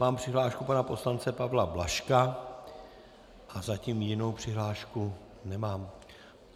Mám přihlášku pana poslance Pavla Blažka a zatím jinou přihlášku nemám.